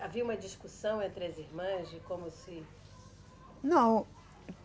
Havia uma discussão entre as irmãs de como se... Não.